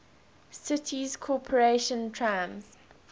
city's corporation trams